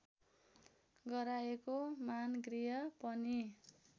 गराएको मानगृह पनि